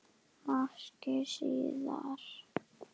Máski síðar.